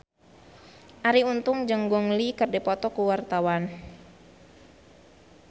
Arie Untung jeung Gong Li keur dipoto ku wartawan